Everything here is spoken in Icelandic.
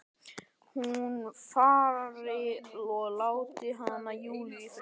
Hún fari og láti hana, Júlíu, í friði.